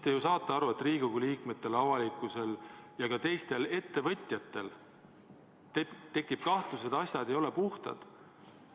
Te ju saate aru, et Riigikogu liikmetel, avalikkusel ja ka teistel ettevõtjatel tekib kahtlus, et asjad ei ole puhtad.